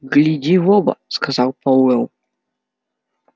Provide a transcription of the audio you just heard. гляди в оба сказал пауэлл